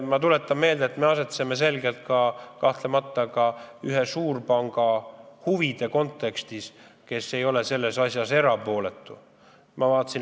Ma tuletan meelde, et me asetseme selgelt keset ühe suurpanga huve, kes ei ole selles asjas erapooletu.